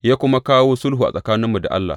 Ya kuma kawo sulhu tsakaninmu da Allah.